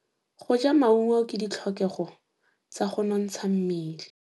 Go ja maungo ke ditlhokegô tsa go nontsha mmele.